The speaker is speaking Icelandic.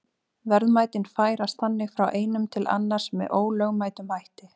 Verðmætin færast þannig frá einum til annars með ólögmætum hætti.